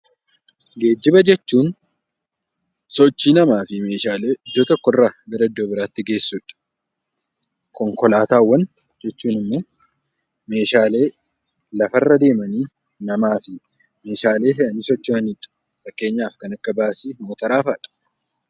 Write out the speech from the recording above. Geejjiba jechuun sochii namaa fi Meeshaalee iddoo tokko irraa gara iddoo biraatti geessudha. Konkolaataawwan jechuun immoo Meeshaalee lafaa fi nama irra deemanii Meeshaalee fe'anii socho'anidha. Fakkeenyaaf kan akka baasii , motoraa fa'aadha.